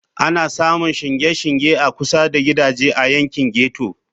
Ana samun shingen shinge a kusa da gidaje a yankin ghetto.